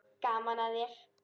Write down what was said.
Gaman að þér!